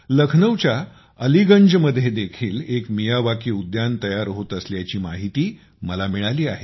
लखनऊच्या अलीगंजमध्ये देखील एक मियावाकी उद्यान तयार होत असल्याची माहिती मला मिळाली आहे